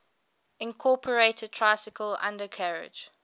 incorporated tricycle undercarriage